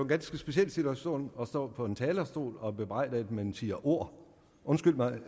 ganske speciel situation at stå på en talerstol og blive bebrejdet at man siger ord undskyld mig